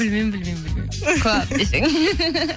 білмеймін білмеймін білмеймін көп десең